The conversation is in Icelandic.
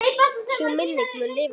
Sú minning mun lifa lengi.